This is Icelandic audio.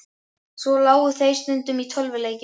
Svo lágu þeir stundum í tölvuleikjum.